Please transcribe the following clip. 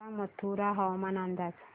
सांगा मथुरा हवामान अंदाज